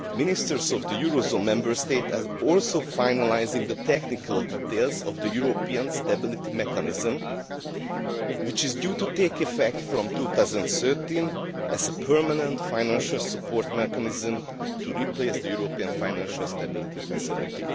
Ministers of the eurozone Member States are also finalising the technical details of the European Stability Mechanism, which is due to take effect from 2013 as a permanent financial support mechanism to replace the European Financial Stability Facility.